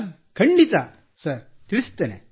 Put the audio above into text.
ಖಂಡಿತಾ ತಿಳಿಸುತ್ತೇನೆ ಸರ್